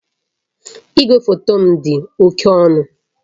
Igwefoto m dị oke ọnụ